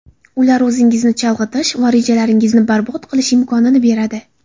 Ular o‘zingizni chalg‘itish va rejalaringizni barbod qilish imkonini beradi.